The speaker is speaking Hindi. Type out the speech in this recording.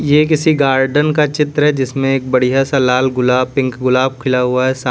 ये किसी गार्डन का चित्र है जिसमें एक बढ़िया सा लाल गुलाब पिंक गुलाब खिला हुआ है सा--